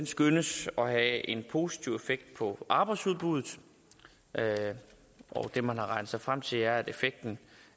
skønnes at have en positiv effekt på arbejdsudbuddet det man har regnet sig frem til er at effekten